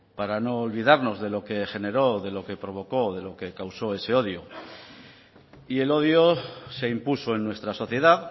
para no olvidarnos de lo que generó de lo que provocó de lo que causó ese odio y el odio se impuso en nuestra sociedad